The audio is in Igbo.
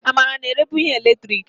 Amarachi na-erebu ihe eletiriki.